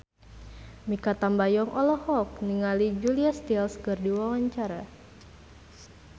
Mikha Tambayong olohok ningali Julia Stiles keur diwawancara